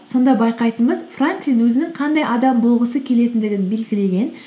сонда байқайтынымыз франклин өзінің қандай адам болғысы келетіндігін белгілеген